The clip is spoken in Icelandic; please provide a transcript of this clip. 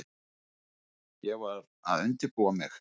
Ég var að undirbúa mig.